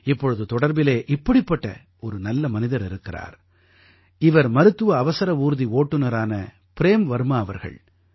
இப்பொழுது தொடர்பிலே இப்படிப்பட்ட ஒரு நல்ல மனிதர் இருக்கிறார் இவர் மருத்துவ அவசர ஊர்தி ஓட்டுநரான ப்ரேம் வர்மா அவர்கள்